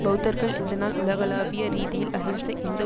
பெளத்தர்கள் இந்த நாள் உலகளாவிய ரீதியில் அஹிம்சை எந்த